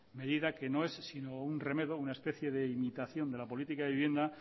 medida que no es sino un remedo una especie de imitación de la política de vivienda